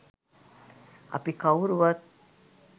අපි කවුරුවත්